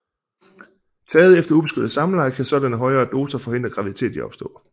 Taget efter ubeskyttet samleje kan sådanne højere doser forhindre graviditet i at opstå